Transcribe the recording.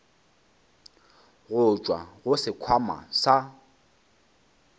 go tšwa go sekhwama sa